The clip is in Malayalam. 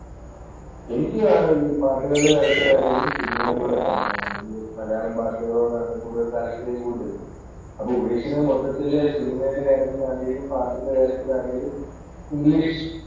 എനിക്ക് പാട്ടുകളുടെ കാര്യത്തിൽ ആണെങ്കിലും സിനിമയെ പോലെ തന്നെയാണ് മലയാളം പാട്ടുകളോടാണ് കൂടുതൽ താൽപര്യം. കൂടുതൽ അപ്പൊ ഉപേഷിനു മൊത്തത്തിൽ സിനിമയിലെ കാര്യത്തിൽ ആണെങ്കിലും പാട്ടിന്‍റെ കാര്യത്തിലാണേലും ഇംഗ്ലിഷ്